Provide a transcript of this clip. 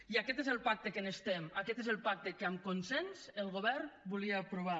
i aquest és el pacte que necessitem aquest és el pacte que amb consens el govern volia aprovar